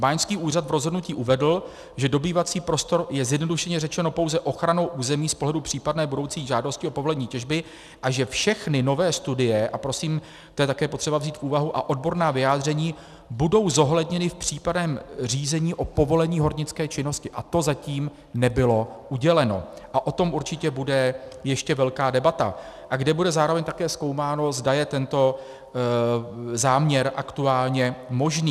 Báňský úřad v rozhodnutí uvedl, že dobývací prostor je, zjednodušeně řečeno, pouze ochranou území z pohledu případné budoucí žádosti o povolení těžby a že všechny nové studie, a prosím, to je také potřeba vzít v úvahu, a odborná vyjádření budou zohledněny v přípravném řízení o povolení hornické činnosti, to zatím nebylo uděleno a o tom určitě bude ještě velká debata, a kde bude zároveň také zkoumáno, zda je tento záměr aktuálně možný.